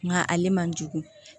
Nka ale man jugu